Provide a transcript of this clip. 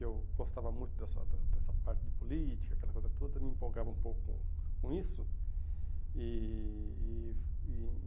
E eu gostava muito dessa da dessa parte de política, aquela coisa toda, me empolgava um pouco com isso. E